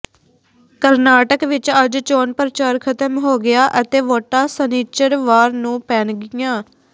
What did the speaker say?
ਕਰਨਾਟਕ ਵਿਚ ਅੱਜ ਚੋਣ ਪ੍ਰਚਾਰ ਖ਼ਤਮ ਹੋ ਗਿਆ ਅਤੇ ਵੋਟਾਂ ਸਨਿਚਰਵਾਰ ਨੂੰ ਪੈਣਗੀਆਂ